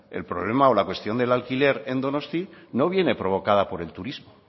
el problema o la cuestión del alquiler en donosti no viene provocada por el turismo